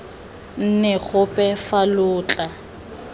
nne gope fa lo tla